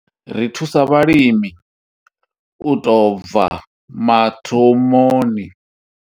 Ri thusa vhalimi u tou bva mathomoni.